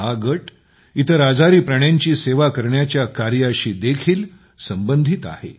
हा गट इतर आजारी प्राण्यांची सेवा करण्याच्या कार्याशी देखील संबंधित आहे